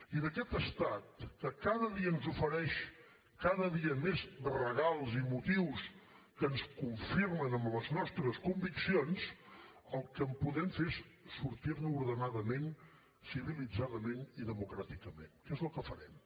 i d’aquest estat que cada dia ens ofereix cada dia més regals i motius que ens confirmen en les nostres conviccions el que podem fer és sortir ne ordenadament civilitzadament i democràticament que és el que farem